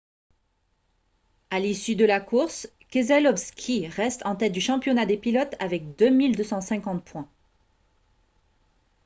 à l'issue de la course keselowski reste en tête du championnat des pilotes avec 2 250 points